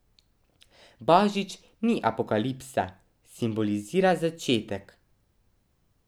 Božič ni apokalipsa, simbolizira začetek.